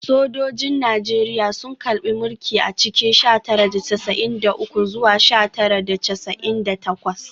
Sojojin Najeriya sun karbe mulki a cikin sha tara da casa’in da uku zuwa sha tara da casa’in da takwas